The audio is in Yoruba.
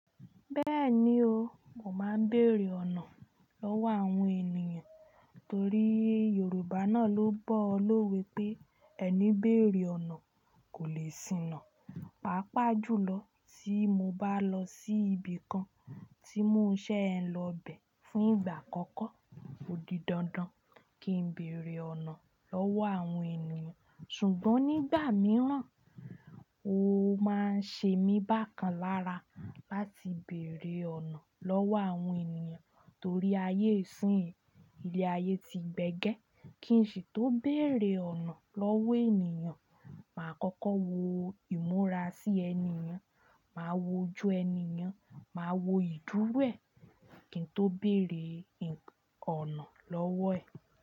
Bẹ́ẹ̀ni o, mo máa ń bèèrè ọ̀nà lọ́wọ́ àwọn ènìyàn torí Yorùbá náà ló bọ́ lówé pé ẹni béèrè ọ̀nà kò lè siná. Pàápàá jùlọ tí mo bá lọ sí ibi kan tí mo ṣẹ́ ẹ lọ bẹ̀ fún ìgbà àkọ́kọ́, ó di dandan kí n bèèrè ọ̀nà lọ́wọ́ àwọn ènìyàn. Ṣùgbọ́n nígbà mìíràn, ó máa ń ṣe mi bákan lára láti bèèrè ọ̀nà lọ́wọ́ àwọn ènìyàn torí ayé ìsìn yìí, ilé ayé ti gbẹ́gẹ́. Kí n sì tó bèèrè ọ̀nà lọ́wọ́ ènìyàn, màá kọ́kọ́ wo ìmúra sí ẹni ènìyàn, màá wo ojú ẹni ènìyàn, màá wo ìdúro ẹ̀ kí n tó bèèrè ọ̀nà lọ́wọ́ ẹ̀